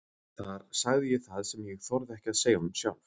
Þar sagði ég það sem ég þorði ekki að segja honum sjálf.